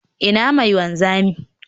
Ina mai wanzami?